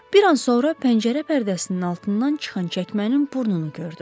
Bir an sonra pəncərə pərdəsinin altından çıxan çəkmənin burnunu gördüm.